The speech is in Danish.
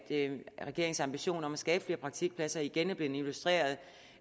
regeringens ambition om at skabe flere praktikpladser igen er blevet illustreret